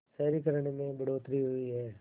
शहरीकरण में बढ़ोतरी हुई है